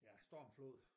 Ja stormflod